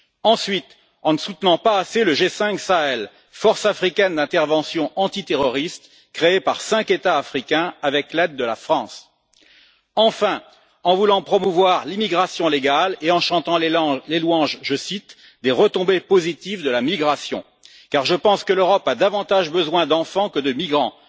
Ensuite en ne soutenant pas assez le G5 Sahel, force africaine d'intervention antiterroriste, créée par cinq États africains, avec l'aide de la France. Enfin, en voulant promouvoir l'immigration légale et en chantant les louanges, je cite, des retombées positives de la migration, car je pense que l'Europe a davantage besoin d'enfants que de migrants.